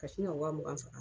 Ka sin ka waa mugan far'a